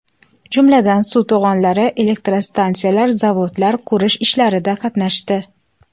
Jumladan, suv to‘g‘onlari, elektrostansiyalar, zavodlar qurish ishlarida qatnashdi.